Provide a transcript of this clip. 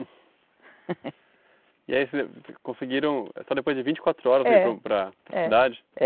E aí vocês conseguiram... Só depois de vinte e quatro horas vocês foram para para cidade?